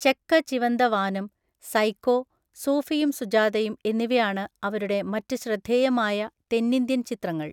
ചെക്ക Chivantha Vaanam', 'Psycho', 'സൂഫിയും സുജാതയും' എന്നിവയാണ് അവരുടെ മറ്റ് ശ്രദ്ധേയമായ തെന്നിന്ത്യൻ ചിത്രങ്ങൾ.